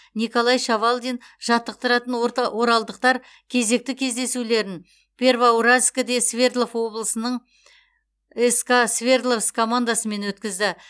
николай шавалдин жаттықтыратын оралдықтар кезекті кездесулерін первоуральскіде свердлов облысының ска свердловск командасымен өткізді